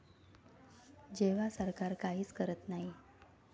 जेव्हा सरकार काहीच करत नाही.